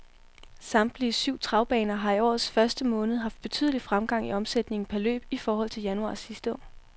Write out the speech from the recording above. Samtlige syv travbaner har i årets første måned haft betydelig fremgang i omsætningen per løb i forhold til januar sidste år.